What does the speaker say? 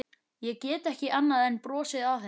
Ég gat ekki annað en brosað að henni.